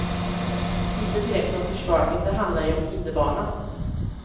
Inte direkt nån försvagning, det handlar ju om hinderbana.